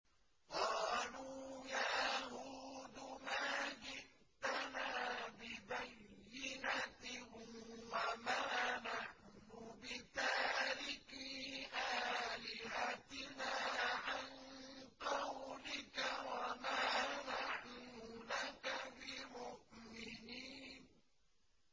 قَالُوا يَا هُودُ مَا جِئْتَنَا بِبَيِّنَةٍ وَمَا نَحْنُ بِتَارِكِي آلِهَتِنَا عَن قَوْلِكَ وَمَا نَحْنُ لَكَ بِمُؤْمِنِينَ